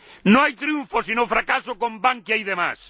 No hay triunfo, sino fracaso con Bankia y demás.